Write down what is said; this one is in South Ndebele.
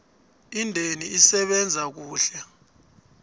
indeni isebenze kuhle